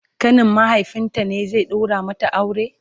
ƙanin mahaifinta ne zai daura mata aure?